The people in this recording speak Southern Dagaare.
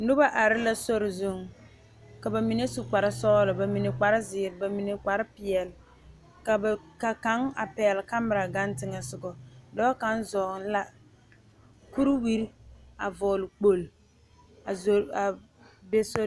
Noba are la sori zuŋ ka bamine su kpare sɔglɔ bamine kpare ziiri, bamine kpare peɛle ka ba ka kaŋ a pegle kamera gaŋ teŋa soga dɔɔ kaŋa zoŋ la kuriwiiri a vɔgle kpoŋlo a zo a be sori.